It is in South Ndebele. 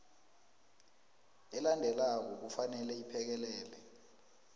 elandelako kufanele iphekelele